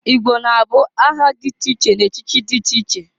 I gbo na-abụ aha dị iche iche na-echichi dị iche iche.